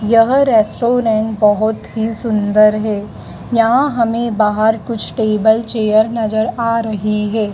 यह रेस्टोरेंट बहुत ही सुंदर है यहाँ हमें बाहर कुछ टेबल चेयर नज़र आ रही है।